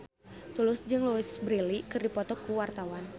Tulus jeung Louise Brealey keur dipoto ku wartawan